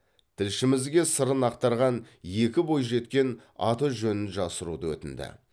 тілшімізге сырын ақтарған екі бойжеткен аты жөнін жасыруды өтінді